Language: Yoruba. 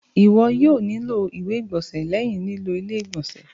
Iwọ yoo nilo iwe igbọnsẹ lẹhin lilo ile-igbọnsẹ.